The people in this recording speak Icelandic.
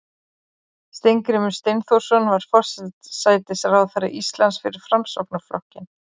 steingrímur steinþórsson var forsætisráðherra íslands fyrir framsóknarflokkinn